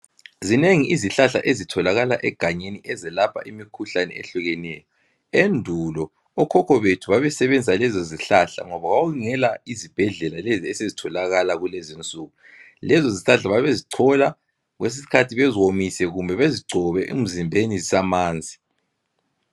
Zinengi izihlahla ezitholakala egangeni ezelapha imikhuhlani ehlukeneyo, endulo okhokho bethu babesebenzisa lezo zihlahla ngoba kwakungela zibhedlela lezi esizitholakalakulezinsuku lezi zihlahka babezichola kwezinye izikhathi beziwomise kumbe bezigcobe emzimbeni zisamanzi.